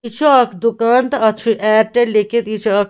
یہِ چُھ اکھ دُکان تہٕ اَتھ چُھ اییرٹِل .لیٚکھِتھ یہِ چُھ اکھ